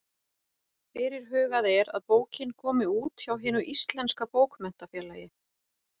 Fyrirhugað er að bókin komi út hjá Hinu íslenska bókmenntafélagi.